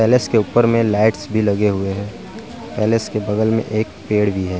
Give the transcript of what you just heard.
Palace के ऊपर में लाइट्स भी लगे हुए हैं। पैलेस के बगल में एक पेड़ भी है।